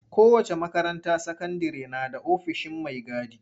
Kowace makaranta sakandire na da ofishin mai gadi.